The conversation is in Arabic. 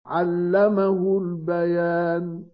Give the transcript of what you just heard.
عَلَّمَهُ الْبَيَانَ